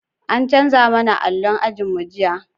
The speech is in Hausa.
An canza mana allo ajin mu jiya